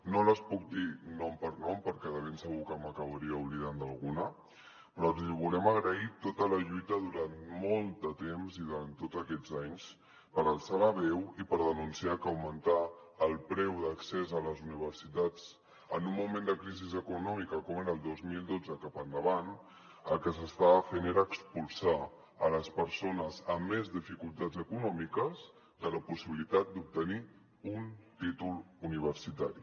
no les puc dir nom per nom perquè de ben segur que m’acabaria oblidant d’alguna però els hi volem agrair tota la lluita durant molt de temps i durant tots aquests anys per alçar la veu i per denunciar que a l’augmentar el preu d’accés a les universitats en un moment de crisi econòmica com era el dos mil dotze cap endavant el que s’estava fent era expulsar les persones amb més dificultats econòmiques de la possibilitat d’obtenir un títol universitari